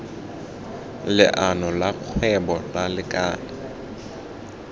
leano la kgwebo la lekala